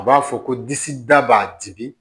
A b'a fɔ ko disi da b'a dimi